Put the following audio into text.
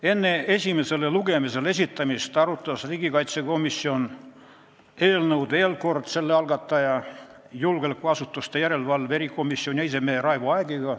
Enne esimesele lugemisele esitamist arutas riigikaitsekomisjon eelnõu veel kord koos eelnõu algataja, julgeolekuasutuste järelevalve erikomisjoni esimehe Raivo Aegiga.